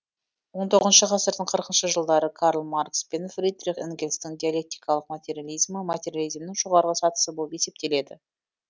он тоғызыншы ғасырдың қырқыншы жылдары карл маркс пен фридрих энгельстің диалектикалық материализмі материализмнің жоғары сатысы болып есептеледі